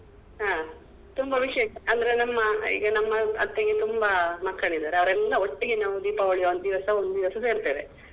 ಹ ತುಂಬ ವಿಶೇಷ ಅಂದ್ರೆ ನಮ್ಮ ಈಗ ನಮ್ಮ ಅತ್ತೆಗೆ ತುಂಬ ಮಕ್ಕಳಿದ್ದಾರೆ ಅವ್ರೆಲ್ಲ ಒಟ್ಟಿಗೆ ನಾವು ದೀಪಾವಳಿ ಒಂದು ದಿವಸ ಒಂದು ದಿವಸ ಸೇರ್ತೆವೆ.